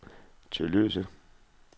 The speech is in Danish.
Tølløse